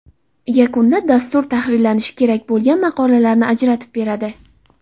Yakunda dastur tahrirlanishi kerak bo‘lgan maqolalarni ajratib beradi.